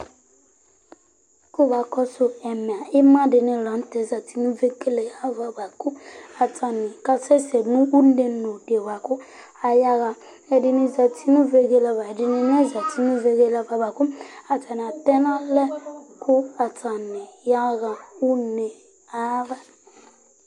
k'eba kɔsu ɛmɛ ima di ni lantɛ zati no vegele ava boa kò atani ka sɛ sɛ no une no di boa kò aya ɣa ɛdini zati no vegele ava ɛdini na zati no vegele ava boa kò atani atɛ n'alɛ kò atani ya ɣa une ayi ava